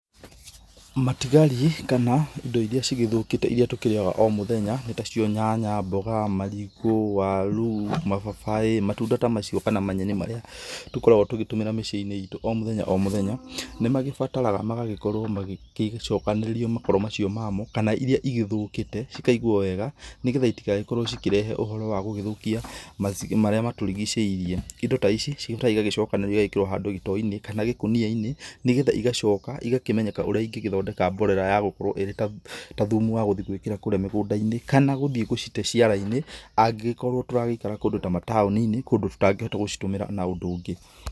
Matigari kana indo iria cigĩthũkĩte iria tũkĩrĩaga o mũthenya nĩtacio nyanya, mboga, marigũ, waru, mababaĩ, matunda ta macio kana manyeni marĩa tũkoragwo tũgĩtũmĩra mĩcii-inĩ itũ o mũthyenya o mũthenya, nĩmagĩbataraga magagĩkorwo magĩkĩcokanĩrĩrio makoro macio mamo kana iria igĩthũkĩte cikaigwo wega nĩgetha itigagĩkorwo cikĩrehe ũhoro wa gũgĩthũkia marĩa matũrigicĩirie. Indo ta ici cirutagwo cigagĩcokanĩrĩrio handũ gĩtoo-inĩ kana gĩkũnia-inĩ nĩgetha igacoka igakĩmenyeka ũria ingĩgĩthondeka mborera ya gũkorwo ĩrĩ ta thumu wa gũthiĩ gwĩkĩra kũrĩa mĩgũnda-inĩ kana gũthiĩ gũcite ciara-inĩ angĩgĩkorwo tũragĩikara kũndũ ta mataũni-inĩ kũndũ tũtangĩhota gũcitũmĩra na ũndũ ũngĩ.